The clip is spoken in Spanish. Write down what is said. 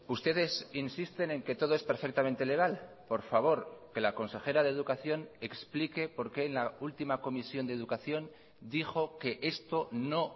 ustedes insisten en que todo es perfectamente legal por favor que la consejera de educación explique por qué en la última comisión de educación dijo que esto no